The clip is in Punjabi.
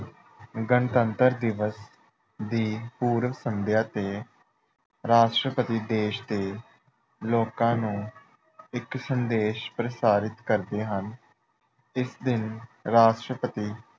ਗਣਤੰਤਰ ਦਿਵਸ ਦੀ ਪੂਰਵ ਸੰਧਿਆ ਤੇ ਰਾਸ਼ਟਰਪਤੀ ਦੇਸ਼ ਦੇ ਲੋਕਾਂ ਨੂੰ ਇੱਕ ਸੰਦੇਸ਼ ਪ੍ਰਸਾਰਿਤ ਕਰਦੇ ਹਨ। ਇਸ ਦਿਨ ਰਾਸ਼ਟਰਪਤੀ